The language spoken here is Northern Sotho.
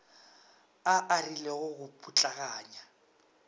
a a rilego go putlaganya